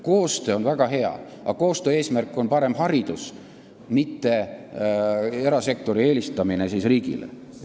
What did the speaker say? Koostöö on väga hea, aga koostöö eesmärk on parem haridus, mitte erasektori eelistamine riigile.